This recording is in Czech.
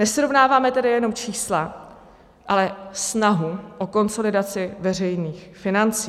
Nesrovnáváme tedy jenom čísla, ale snahu o konsolidaci veřejných financí.